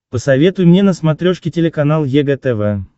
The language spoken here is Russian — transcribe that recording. посоветуй мне на смотрешке телеканал егэ тв